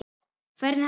Hvernig hafið þið það?